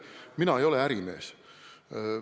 Mina ei ole ärimees.